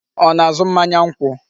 Ọ na-azụ mmanya nkwụ?